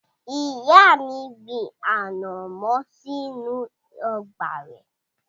Ìyá mi gbin ànàmọ́ sínú ọgbà rẹ̀.